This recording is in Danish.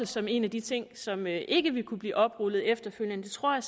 som en af de ting som ikke ville kunne blive oprullet efterfølgende det tror jeg